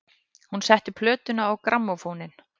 Hún setti plötuna á grammófóninn.